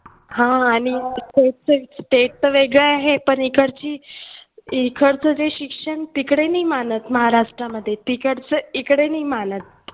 हां state च वेगळं आहे पण इकडची इकडचे जे शिक्षण तिकडे नाही मानत महाराष्ट्रामध्ये तिकडचं इकडे नाही मानत.